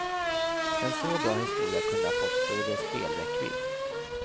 En så bra historia kunde ha fått större spelräckvidd.